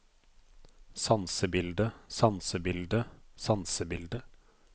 sansebildet sansebildet sansebildet